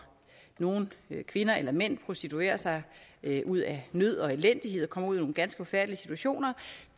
nogle kvinder eller mænd prostituerer sig ud af nød og elendighed og kommer ud i nogle ganske forfærdelige situationer